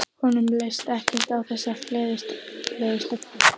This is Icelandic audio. Honum leist ekkert á þessa fleðulegu stelpu.